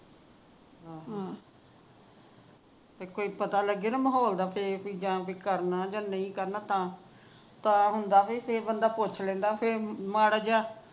ਹਮ ਫੇਰ ਪਤਾ ਲੱਗੇ ਨਾ ਮਾਹੌਲ ਦਾ ਫੇਰ ਜਾ ਕੁੱਝ ਕਰਨਾ ਜਾ ਨੀ ਕਰਨਾ ਤਾਂ ਹੁੰਦਾ ਬਈ ਫੇਰ ਬੰਦਾ ਪੁੱਛ ਲਿਦਾ ਮਾੜਾ ਜਿਹਾ